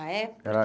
Ah, é? Era